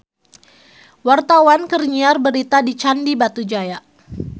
Wartawan keur nyiar berita di Candi Batujaya